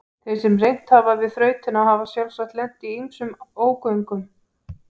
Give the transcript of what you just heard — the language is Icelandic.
Þeir sem reynt hafa við þrautina hafa sjálfsagt lent í ýmsum ógöngum.